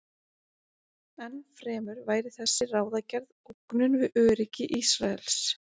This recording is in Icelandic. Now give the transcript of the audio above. Enn fremur væri þessi ráðagerð ógnun við öryggi Ísraels.